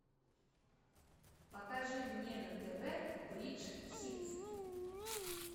покажи мне на тв бридж хитс